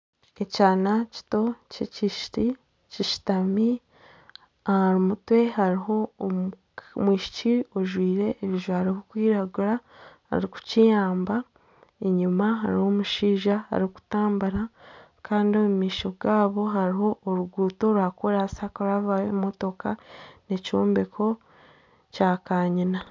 Ekyana kito ky'ekishiki kishutami, aha mutwe hariho omwishiki ajwire ebijwaro birikwiragura arikukiyamba enyuma hariyo omushaija arikutambura kandi omu maisho gaabo hariho oruguuto rwa koraansi harikurabaho ebimotoka, ekyombeko kya kaanyina